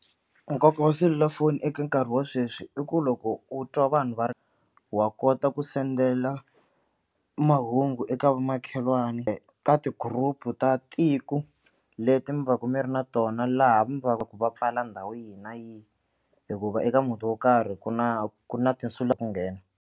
Nkoka wa selulafoni eka nkarhi wa sweswi i ku loko u twa vanhu va ri wa kota ku sendela mahungu eka vamakhelwani ka ti-group ta tiko leti mi va ka mi ri na tona laha mi va ka ku va pfala ndhawu yihi na yihi hikuva eka muti wo karhi ku na ku na ku nghena.